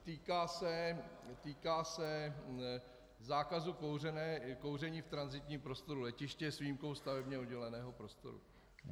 Týká se zákazu kouření v tranzitním prostoru letiště s výjimkou stavebně odděleného prostoru.